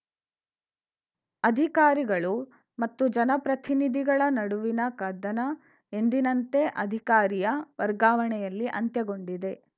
ಅಧಿಕಾರಿಗಳು ಮತ್ತು ಜನಪ್ರತಿನಿಧಿಗಳ ನಡುವಿನ ಕದನ ಎಂದಿನಂತೆ ಅಧಿಕಾರಿಯ ವರ್ಗಾವಣೆಯಲ್ಲಿ ಅಂತ್ಯಗೊಂಡಿದೆ